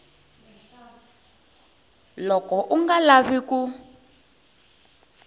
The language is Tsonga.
loko u nga lavi ku